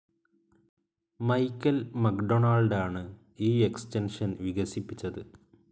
Michael McDonald ആണ് ഈ extension വികസിപ്പിച്ചത്.